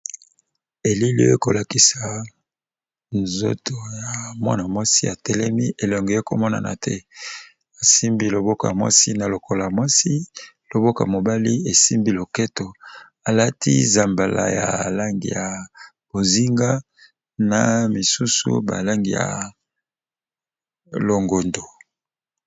Elili oyo, eko lakisa nzoto ya mwana mwasi a telemi. Elongi ekomonana te. Asimbi loboko ya mwasi na lokolo ya mwasi. Loboko ya mobali esimbi loketo. Alati zambala ya langi ya bozinga, na misusu balangi ya longondo.